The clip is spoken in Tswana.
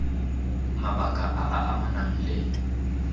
mabaka a a amanang le